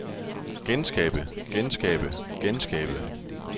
genskabe genskabe genskabe